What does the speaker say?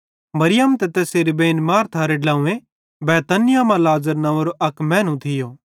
मरियम ते तैसेरी बेइन मार्थारे ड्लव्वें बैतनिय्याह मां लाज़र नव्वेंरो अक मैनू थियो